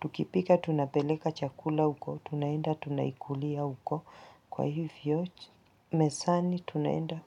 tukipika tunapeleka chakula huko tunaenda tunaikulia huko kwa hivyochi mesani tunaenda.